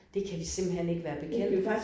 Det kan vi simpelthen ikke være bekendt